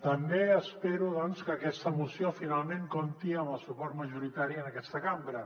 també espero doncs que aquesta moció finalment compti amb el suport majoritari en aquesta cambra